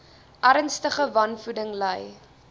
ernstige wanvoeding ly